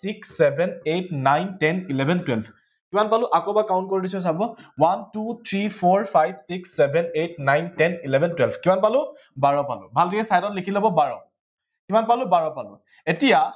six seven eight nine ten eleven twelve কিমান পালো আকৌ এবাৰ count কৰি দিছো চাব one two three four five six seven eight nine ten eleven twelve কিমান পালো বাৰ পালো ভালকে side ত লিখি লব বাৰ কিমান পালো বাৰ পালো এতিয়া